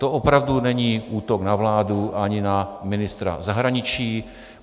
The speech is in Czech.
To opravdu není útok na vládu ani na ministra zahraničí.